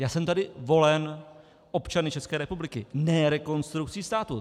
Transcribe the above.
Já jsem tady volen občany České republiky, ne Rekonstrukcí státu.